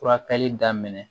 Furakɛli daminɛ